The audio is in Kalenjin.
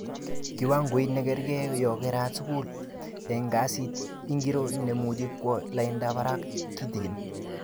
Kiwangoit nekerke yo kerat skul, eng kesit ingiro nemuch kwo lainda barak kitigin